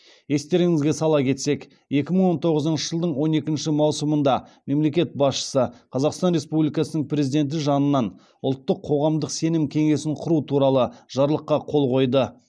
естеріңізге сала кетсек екі мың он тоғызынщы жылдың он екінші маусымында мемлекет басшысы қазақстан республикасы президенті жанынан ұлттық қоғамдық сенім кеңесін құру туралы жарлыққа қол қойды